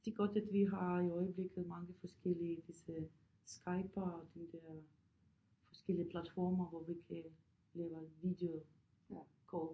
Det er godt at vi har i øjeblikket mange forskellige disse Skype og de der forskellige platforme hvor vi kan lave videocall